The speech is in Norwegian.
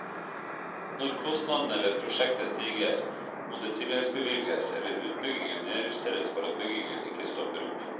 Når kostnadene ved prosjekter stiger, må det tilleggsbevilges eller utbyggingen nedjusteres for at bygging ikke stopper opp.